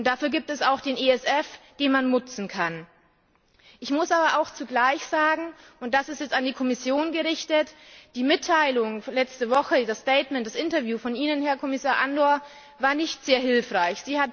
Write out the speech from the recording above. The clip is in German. Dafür gibt es auch den ESF, den man nutzen kann. Ich muss aber zugleich sagen, und das ist jetzt an die Kommission gerichtet Die Mitteilung letzte Woche, das Statement, das Interview von Ihnen, Herr Kommissar Andor, war nicht sehr hilfreich.